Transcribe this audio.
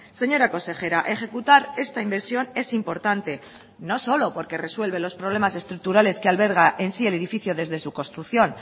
señora consejera ejecutar esta inversión es importante no solo porque resuelve los problemas estructurales que alberga en sí el edificio desde su construcción